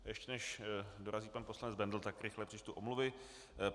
Ještě než dorazí pan poslanec Bendl, tak rychle přečtu omluvy.